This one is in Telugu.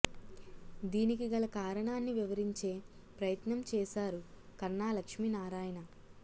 దీనికి గల కారణాన్ని వివరించే ప్రయత్నం చేసారు కన్నా లక్ష్మి నారాయణ